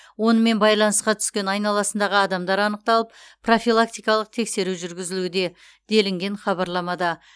онымен байланысқа түскен айналасындағы адамдар анықталып профилактикалық тексеру жүргізілуде делінген хабарламада